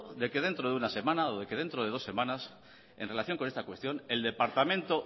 de que dentro de una semana o que dentro de dos semanas en relación con esta cuestión el departamento